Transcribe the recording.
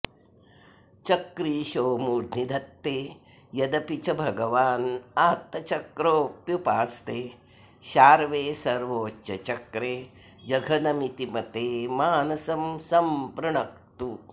चक्रीशो मूर्ध्नि धत्ते यदपि च भगवानात्तचक्रोऽप्युपास्ते शार्वे सर्वोच्चचक्रे जघनमिति मते मानसं सम्पृणक्तु